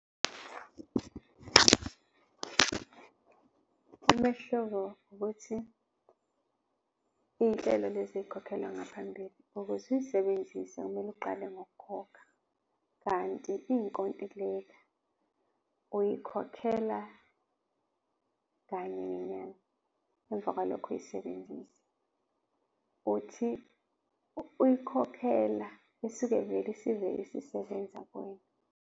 Umehluko wukuthi izinhlelo lezi ezikhokhelwa ngaphambili, ukuze uzisebenzise kumele uqale ngokukhokha kanti izinkontileka uzikhokhela kanye ngenyanga, emva kwalokho uyisebenzisa. Uthi uyikhokhela isuke vele isivele isisebenza kuwena.